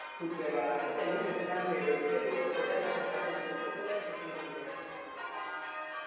footwear વાળા ને નુકશાન થઇ રહ્યું છે કે લોકો બજાર માં જતા જ નથી બધું online shopping કરી રહ્યા છે